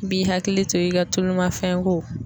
b'i hakili to i ka tulumafɛnko